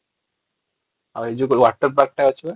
ଆଉ ଏ ଯୋଉ water park ଟା ଅଛି ବା |